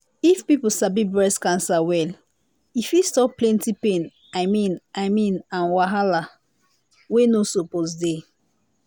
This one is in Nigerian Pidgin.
if people sabi breast cancer well e fit stop plenty pain i mean i mean and wahala wey no suppose dey.